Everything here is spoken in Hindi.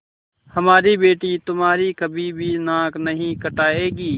हमारी बेटी तुम्हारी कभी भी नाक नहीं कटायेगी